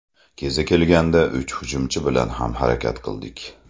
Kezi kelganda uch hujumchi bilan ham harakat qildik.